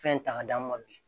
Fɛn ta ka d'an ma bi